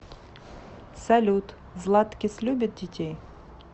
салют златкис любит детей